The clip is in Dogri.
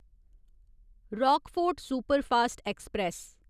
Rockfort superfast express